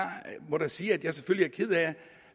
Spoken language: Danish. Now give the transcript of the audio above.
må da sige at jeg selvfølgelig er ked af